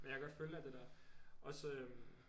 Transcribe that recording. Men jeg kan godt følge dig i det der også